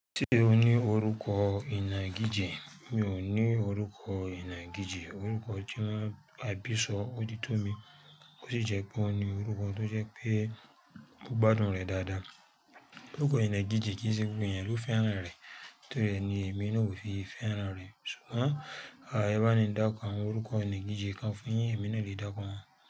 Ṣé o ní orúkọ ìnà gije? Mi ò ní orúkọ ìnà giji, orúkọ tí wọ́n ń àbísọ̀ ó ti tó mi, ó sì jẹ́ pé wọ́n ní orúkọ tó jẹ́ pé mo gbádùn rẹ̀ dáadáa. Orúkọ ìnà giji kìn ṣe gbogbo ẹ̀yàn lo fẹ́ràn rẹ̀, nítorí ni èmi náà ò fi fẹ́ràn rẹ̀. Ṣùgbọ́n, à, ẹba mi ń dákọ awọn orúkọ ìnà giji kan fún yín, èmi náà lè dákọ wọn.